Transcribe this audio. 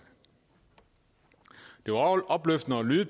det var opløftende at lytte